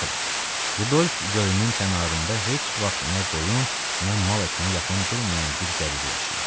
Məsələn, Rudolf gölünün kənarında heç vaxt nə qoyun, nə mal ətinə yaxın durmayan bir qəbilə yaşayır.